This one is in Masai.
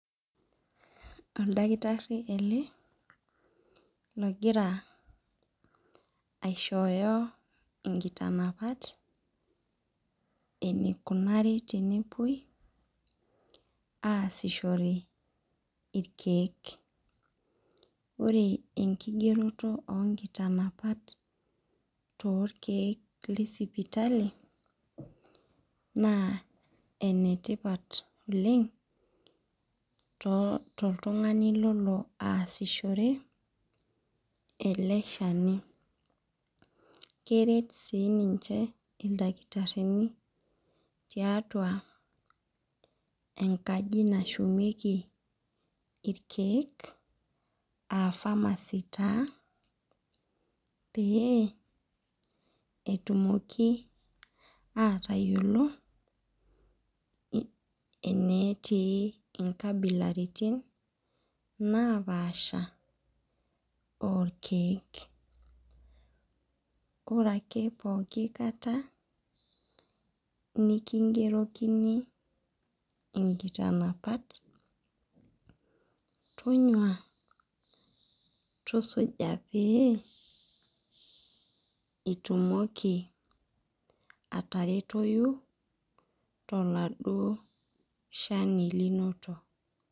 Oldakitari ele ohira aishooyo nkitanapat enikunari tenepuoi aasishore irkiek ore enkigeroto onkitanapat orkiek tesipitali na enetipat oleng toltungani lolo aasishore ele shani keret si ninche ildakitarini tiatua enkaji nashumieki irkiek aa pharmacy taa pee etumoki atayiolo enetii nkabilaitin napaasha orkiek ore ake pooki kata nikingerokini inkitanapat tonyuo tusuja peitumokibataretoi toladuo shani linoto.